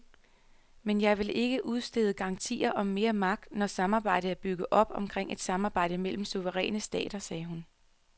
Men jeg ville ikke udstede garantier om mere magt, når samarbejdet er bygget op omkring et samarbejde mellem suveræne stater, sagde hun.